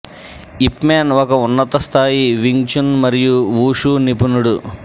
యిప్ Man ఒక ఉన్నత స్థాయి వింగ్ చున్ మరియు వూషూ నిపుణుడు